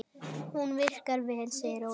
Hún virkar vel, segir Ólafur.